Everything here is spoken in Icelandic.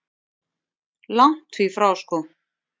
Langt því frá sko.